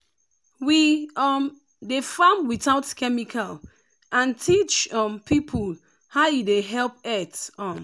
we um dey farm without chemical and teach um people how e dey help earth. um